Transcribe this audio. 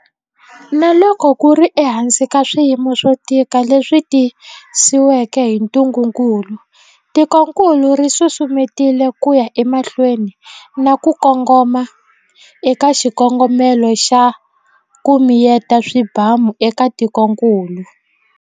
Na loko ku ri ehansi ka swiyimo swo tika leswi tisiweke hi ntungukulu, tikokulu ri susumetile ku ya emahlweni na ku kongoma eka xikongomelo xa, ku miyeta swibamu eka tikokulu.